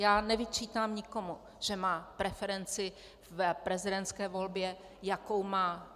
Já nevyčítám nikomu, že má preferenci v prezidentské volbě, jakou má.